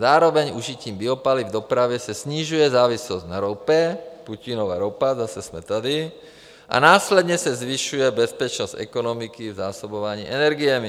Zároveň užitím biopaliv v dopravě se snižuje závislost na ropě - Putinova ropa, zase jsme tady - a následně se zvyšuje bezpečnost ekonomiky v zásobování energiemi.